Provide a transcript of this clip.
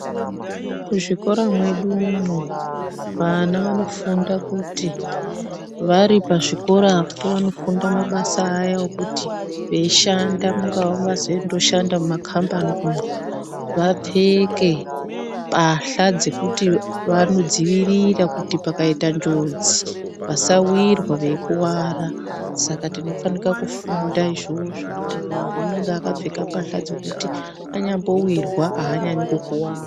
Muzvikora mwedumwo vana vanofunda kuti vari pazvikorapo vanofunda mabasa aya ekuti veishanda mungava vezondoshanda mumakambani umu vapfeke mbahla dzekuti vanodzivirira kuti pakaita njodzi vasawirwa veikuvara, saka tinofanika kufunda izvozvo kuti muntu unenga akapfeka mbahla dzekuti anyambowirwa haanyanyi kukuwara.